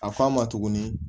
A f'a ma tuguni